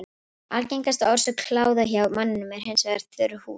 Algengasta orsök kláða hjá manninum er hins vegar þurr húð.